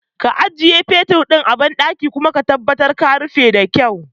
Ka ajiye fetur ɗin a banɗaki kuma ka tabbatar ka rufe da kyau